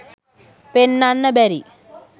පෙන්නන්න බැරි.